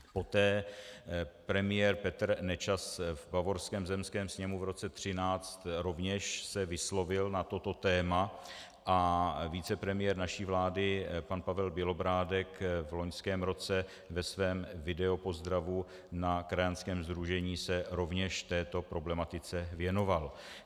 Poté premiér Petr Nečas v bavorském zemském sněmu v roce 2013 rovněž se vyslovil na toto téma a vicepremiér naší vlády pan Pavel Bělobrádek v loňském roce ve svém videopozdravu na krajanském sdružení se rovněž této problematice věnoval.